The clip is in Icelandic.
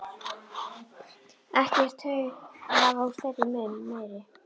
Ekkert tuð að hafa úr þeirra munni meir.